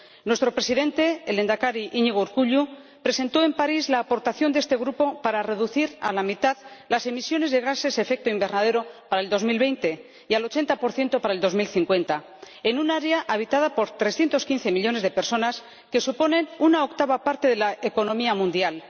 Nuestro presidente, el lehendakari Iñigo Urkullu, presentó en París la aportación de este grupo para reducir a la mitad las emisiones de gases de efecto invernadero para el año 2020 y al 80 para el año 2050, en un área habitada por 315 millones de personas, que suponen una octava parte de la economía mundial.